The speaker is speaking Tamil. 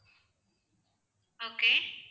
okay